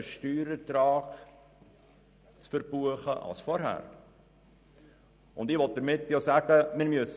Ich möchte damit sagen, dass wir einmal damit anfangen müssen.